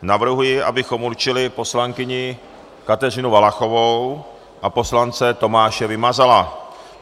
Navrhuji, abychom určili poslankyni Kateřinu Valachovou a poslance Tomáše Vymazala.